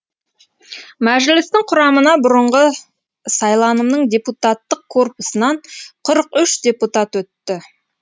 мәжілістің құрамына бұрынғы сайланымның депутаттық корпусынан қырық үш депутат өтті